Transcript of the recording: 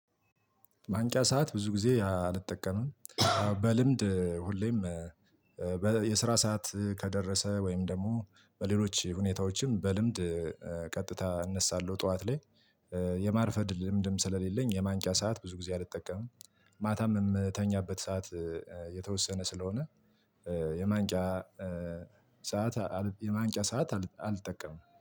ማንቂያ ሰዓት ብዙ ጊዜ አልጠቀምም። በልምድ ሁሌም የስራ ሰዓት ከደረሰ ወይም ደግሞ በሌሎች ሁኔታዎችም በልምድ ቀጥታ እነሳለሁ ጠዋት ላይ። የማርፈድ ልምድም ስለሌለኝ የማንቂያ ሰዓት ብዙ ጊዜ አልጠቀምም። ማታም የምተኛበት ሰዓት የተወሰነ ስለሆነ የማንቂያ ሰዓት የማንቂያ ሰዓት አል አልጠቀምም።